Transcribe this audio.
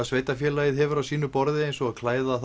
sveitarfélagið hefur á sínu borði eins og klæða